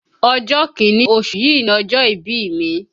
Ọjọ́ kìíní oṣù yìí ni ọjọ́ ìbí mi